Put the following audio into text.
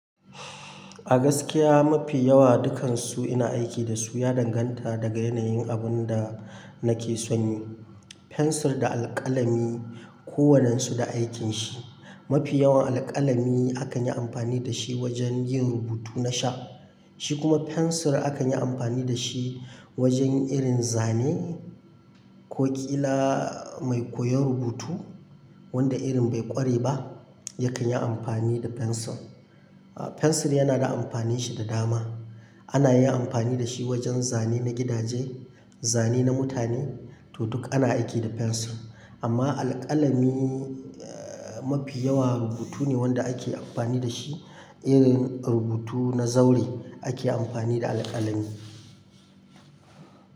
A gaskiya mafi yawa dukansu ina aiki dasu ya danganta daga yanayin abun da nake son yi. Fensir da alƙalami kowannen su da aikinshi. Mafi yawan alƙalami akan yi amfani dashi wajen yin rubutu na sha, shi kuma fensir akan yi amfani dashi wajen irin zane ko ƙila mai koyon rubutu wanda irin bai ƙware ba yakan yi amfani da fensir. Fensir yana da amfaninshi da dama. Anayin amfani dashi wajen zane na gidaje, zane na mutane, to duk ana aiki da fensir. Amma alƙalami eh mafi yawa rubutu ne wanda ake amfani dashi. Irin rubutu na zaure ake amfani da aƙalami.